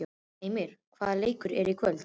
Heimir, hvaða leikir eru í kvöld?